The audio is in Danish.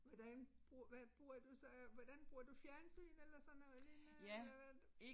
Hvordan hvad bruger du så hvordan bruger du fjernsyn eller sådan noget lignende eller hvad du